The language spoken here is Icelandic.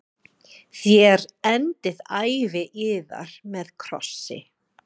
Þér endið ævi yðar með krossi.